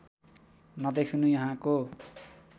नदेखिनु यहाँको